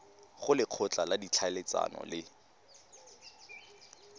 go lekgotla la ditlhaeletsano le